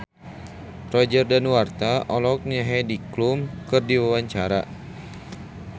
Roger Danuarta olohok ningali Heidi Klum keur diwawancara